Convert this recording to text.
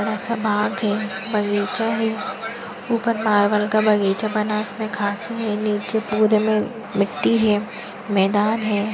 बडासा बाग है बगीचा है ऊपर मार्बल का बगीचा बना है उसमे घास है नीचे पुरे मे मिट्टी है मैदान है।